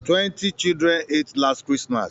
Twenty children ate last Christmas